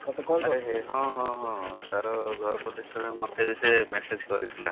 ହଁ ହଁ ହଁ, ତାର ଘର ପ୍ରତିଷ୍ଠା ପାଇଁ ମତେ ବି ସେ message କରିଥିଲା।